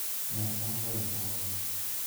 Med mogo e riurwok no